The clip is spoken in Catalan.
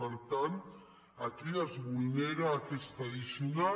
per tant aquí es vulnera aquesta addicional